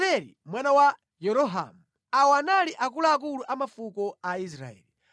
mtsogoleri wa fuko la Dani: Azareli mwana wa Yerohamu. Awa anali akuluakulu a mafuko a Israeli.